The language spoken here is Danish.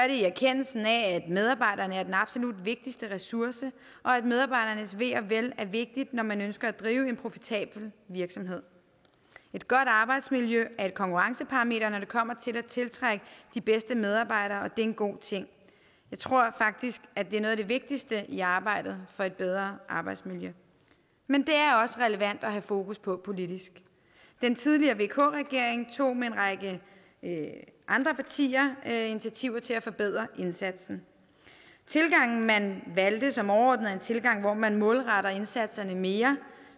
i erkendelsen af at medarbejderne er den absolut vigtigste ressource og at medarbejdernes ve og vel er vigtigt når man ønsker at drive en profitabel virksomhed et godt arbejdsmiljø er et konkurrenceparameter når det kommer til at tiltrække de bedste medarbejdere og en god ting jeg tror faktisk at det er noget af det vigtigste i arbejdet for et bedre arbejdsmiljø men det er også relevant at have fokus på på politisk den tidligere vk regering tog sammen med en række andre partier initiativer til at forbedre indsatsen tilgangen som man valgte som overordnet tilgang hvor man målretter indsatserne mere